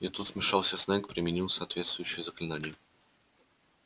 и тут вмешался снегг применил соответствующее заклинание